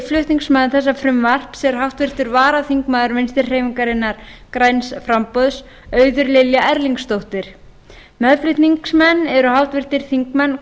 flutningsmaður þessa frumvarps er háttvirtur varaþingmaður vinstri hreyfingarinnar græns framboðs auður lilja erlingsdóttir meðflutningsmenn eru háttvirtir þingmenn